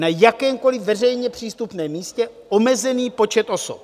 Na jakémkoliv veřejně přístupném místě omezený počet osob.